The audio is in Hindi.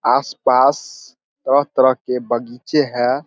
आस-पास तरह-तरह के बगीचे है।